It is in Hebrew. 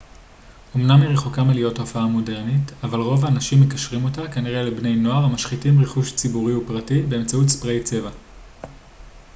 אמנם היא רחוקה מלהיות תופעה מודרנית אבל רוב האנשים מקשרים אותה כנראה לבני נוער המשחיתים רכוש ציבורי ופרטי באמצעות ספריי צבע